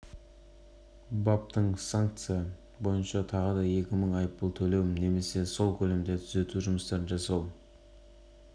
егер жүргізушінің кінәсі дәлелденсе көлік жүргізуге шектеу қойылып немесе екі жылға дейін бас бостандығынан айырылады бұл